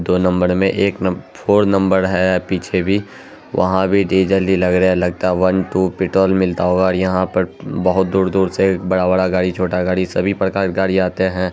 दो नंबर में एक नंबर फोर नंबर है पीछे भी वह भी लग रहा है डीजल लग रहा है लगता है वन टू पे ट्रोल मिलता होगा यहाँ पर बोहोत बड़ा-बड़ा गाड़ी छोटा गाड़ी सभी प्रकार गाड़ी आते रहते है।